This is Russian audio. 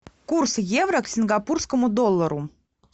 курс евро к сингапурскому доллару